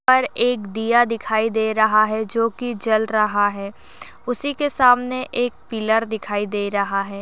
पर एक दिया दिखाई दे रहा है जो कि जल रहा है। उसी के सामने एक पिलर दिखाई दे रहा है।